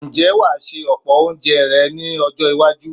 Ǹjẹ́ wà á se ọ̀pọ̀ oúnje rẹ ní ọjọ́-iwájú?